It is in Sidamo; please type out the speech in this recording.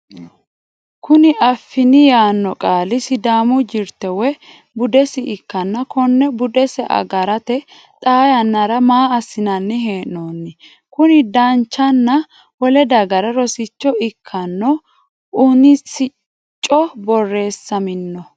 kuni affini yaanno qaali sidaamu jirte woyi budese ikkanna, konne budese agarate xaa yanara maa assinanni hee'noonni? kuni danchanna wole dagarano rosicho ikkanno UNISCO borreessamino?